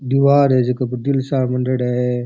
दीवार है झक पर दिल सा मांडेडा है।